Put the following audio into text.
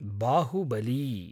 Baahubali